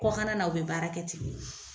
Kɔkannana u bɛ baara kɛ ten.